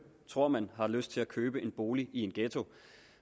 tror man har lyst til at købe en bolig i en ghetto